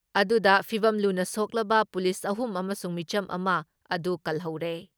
ꯑꯗꯨꯗ ꯐꯤꯚꯝ ꯂꯨꯅ ꯁꯣꯛꯂꯕ ꯄꯨꯂꯤꯁ ꯑꯍꯨꯝ ꯑꯃꯁꯨꯡ ꯃꯤꯆꯝ ꯑꯃ ꯑꯗꯨ ꯀꯜꯍꯧꯔꯦ ꯫